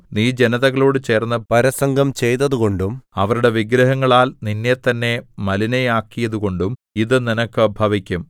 നീ ജനതകളോടു ചേർന്ന് പരസംഗം ചെയ്തതുകൊണ്ടും അവരുടെ വിഗ്രഹങ്ങളാൽ നിന്നെത്തന്നെ മലിനയാക്കിയതുകൊണ്ടും ഇത് നിനക്ക് ഭവിക്കും